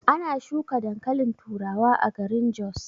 Ana shuka dankalin turawa a garin jos.